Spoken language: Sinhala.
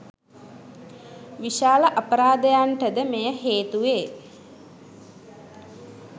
විශාල අපරාධයන්ට ද මෙයම හේතු වේ.